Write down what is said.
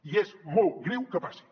i és molt greu que passi